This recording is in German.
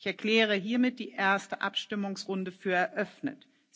Ich erkläre die erste Abstimmungsrunde für eröffnet.